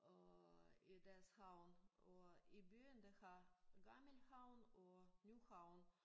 Og i deres havn og i byen de har gammel havn og ny havn